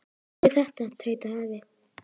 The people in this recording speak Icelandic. Hvað er þetta? tautaði afi.